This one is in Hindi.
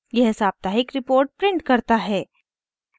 यह साप्ताहिक रिपोर्ट प्रिंट करता है